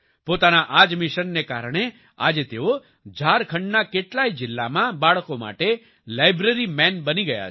પોતાના આ જ મિશનને કારણે આજે તેઓ ઝારખંડના કેટલાય જિલ્લામાં બાળકો માટે લાયબ્રેરી મેન બની ગયા છે